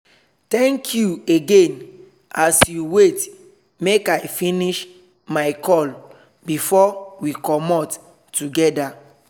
thank you again as you wait make i finish my call before we comot together